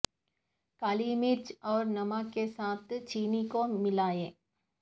کالی مرچ اور نمک کے ساتھ چینی کو ملائیں